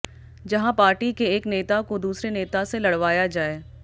जहां पार्टी के एक नेता को दूसरे नेता से लड़वाया जाए